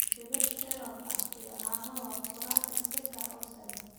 Madiibad cereal ah iyo caano waa quraac degdeg ah oo sahlan.